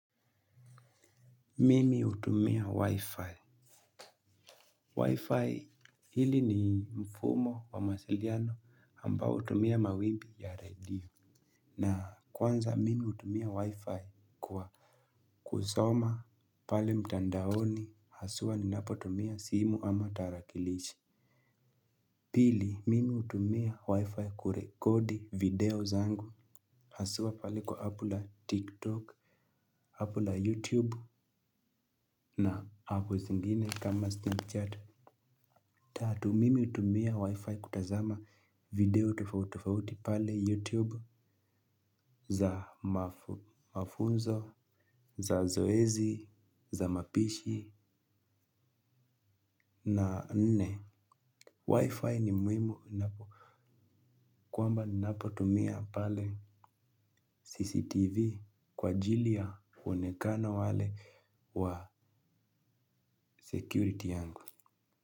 Mimi hutumia wi-fi. Wi-fi hili ni mfumo wa mawasiliano ambao hutumia mawimbi ya radio. Na kwanza mimi hutumia wi-fi kwa kusoma pale mtandaoni haswa ninapo tumia simu ama tarakilishi. Pili mimi hutumia wi-fi kurekodi video zangu haswa pale kwa apula tiktok, apula youtube na apu zingine kama snapchat. Tatu mimi hutumia wi-fi kutazama video tofauti tofauti pale YouTube za mafunzo, za zoezi, za mapishi na nne. Wi-fi ni muhimu ninapo. Kwamba napo tumia pale CCTV kwa ajili ya uonekano wale wa security yangu.